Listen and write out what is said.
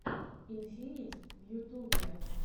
инфинит в ютубе